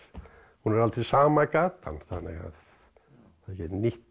hún er aldrei sama gatan þannig að þetta er nýtt